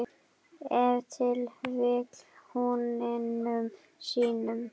Ef til vill húninum sínum?